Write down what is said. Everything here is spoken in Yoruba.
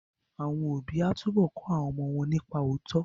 Àwọn òbí á túbọ̀ kọ́ àwọn ọmọ wọn nípa òótọ́